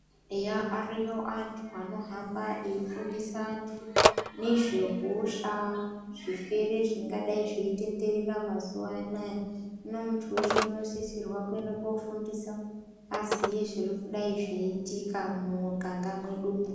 Eya ariyo antu anohamba eifundisa antu nezvehosha zvirwere zvingadai zveitenderera mazuva anaya hino muntu weshe unosisirwe kuende kofundiswa aziye zvirikudai zveiitika mumuganga mwedumwo.